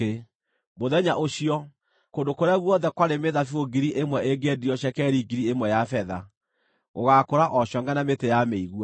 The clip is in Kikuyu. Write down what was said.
Mũthenya ũcio, kũndũ kũrĩa guothe kwarĩ mĩthabibũ 1,000 ĩngĩendirio cekeri 1,000 ya betha, gũgaakũra o congʼe na mĩtĩ ya mĩigua.